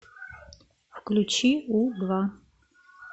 включи у два